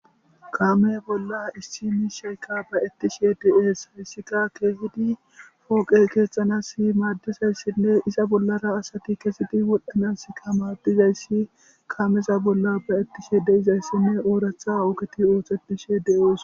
Kame bolla issi miisheyka ba'etishe de'es haysika keejidi poqe keexanasiadizausinne iza bollara asati kezi wodhanasika maadizaysi kaameza bolla ba'etishe de'izaysinne oratha ogeti oosetishe de'izaysi betishe de'es